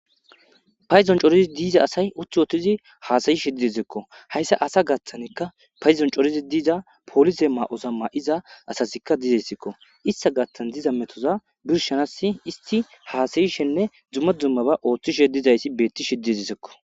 payzon corizi diiza asay uthi wootizi haasayi shi didzekko hayssa asa gaththanekka payzon corizi diiza poolise ma7oza ma7iza asasikka dizeyssekko ista gattan diza metoza birshanass isti haasayishenne dzumma dzummaba ooththishe dizayssi beetti shiddidizekko.